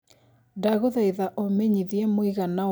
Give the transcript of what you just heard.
ndagũthaĩtha ũmenyĩthĩe mũigana wa andũ Kenya